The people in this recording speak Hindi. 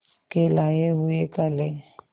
के लाए हुए काले